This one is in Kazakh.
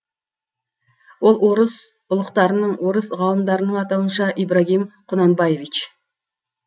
ол орыс үлықтарының орыс ғалымдарының атауынша ибрагим қунанбаевич